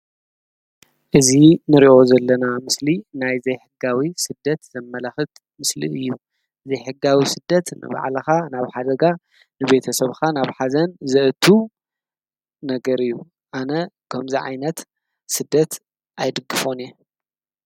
እዚ ንሪኦ ዘለና ምስሊ ናይ ዘይሕጋዊ ስደት ዘመላኽት ምስሊ እዩ። ዘይሕጋዊ ስደት ንባዕልኻ ናብ ሓደጋ ንቤተሰብኻ ናብ ሓዘን ዘእቱ ነገር እዩ። ኣነ ከምዚ ዓይነት ስደት ኣይድግፎን እየ ።